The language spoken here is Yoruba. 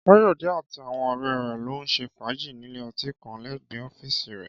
Káyọ̀dé àti àwọn ọ̀rẹ́ rẹ̀ lọ ṣe fàájì nílé ọtí kan lẹ́gbẹ̀ẹ́ ọ́fíìsì rẹ̀